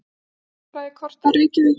Jarðfræðikort af Reykjavík.